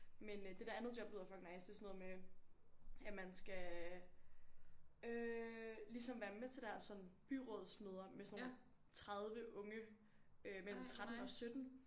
Men øh det der andet job lyder fucking nice det er sådan noget med at man skal øh ligesom være med til deres sådan byrådsmøder med sådan nogle 30 unge øh mellem 13 og 17